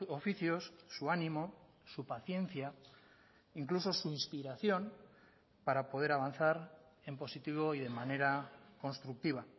oficios su ánimo su paciencia incluso su inspiración para poder avanzar en positivo y de manera constructiva